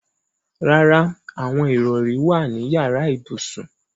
Rárá, àwọn ìrọrí wà ní yàrá ibùsùn.